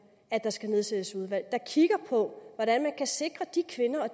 at der skal nedsættes et udvalg der kigger på hvordan man kan sikre de kvinder og